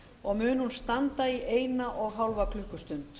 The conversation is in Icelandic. og mun hún standa í eina og hálfa klukkustund